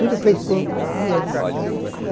Tudo fiz com as minhas mãos.